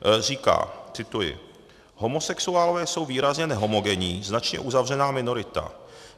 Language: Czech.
Říká - cituji: "Homosexuálové jsou výrazně nehomogenní, značně uzavřená minorita.